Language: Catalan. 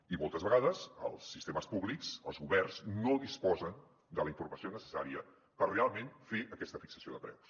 i moltes vegades els sistemes públics els governs no disposen de la informació necessària per realment fer aquesta fixació de preus